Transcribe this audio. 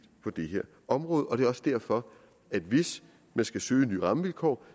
på det her område og det er også derfor at hvis man skal søge nye rammevilkår